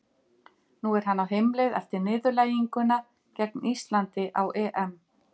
Nú er hann á heimleið eftir niðurlæginguna gegn Íslandi á EM.